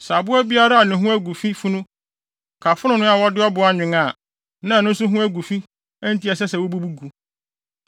Sɛ aboa biara a ne ho agu fi funu ka fononoo a wɔde ɔbo anwen a, na ɛno nso ho agu fi enti ɛsɛ sɛ wobubu gu.